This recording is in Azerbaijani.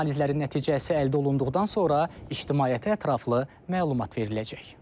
Analizlərin nəticəsi əldə olunduqdan sonra ictimaiyyətə ətraflı məlumat veriləcək.